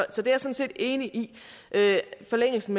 er sådan set enig forlængelsen